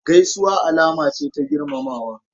Gaisuwa alama ce ta girmamawa.